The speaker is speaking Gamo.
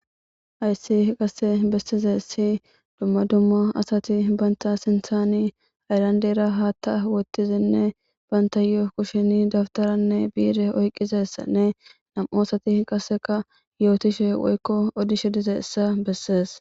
hayssi qase bessize si dumma dumma asati banta sinthaani ayrandeera haatta wottizinne banta yoo kushini dabtaranne biire oyqizessanne nam7o asati qaseka yootishe woykko odishe dize issa bessees